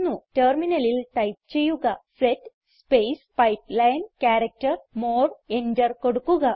ടെർമിനലിൽ ടൈപ്പ് ചെയ്യുക set space pipeline character more enter കൊടുക്കുക